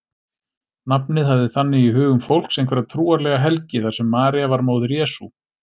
Nafnið hafði þannig í hugum fólks einhverja trúarlega helgi þar sem María var móðir Jesú.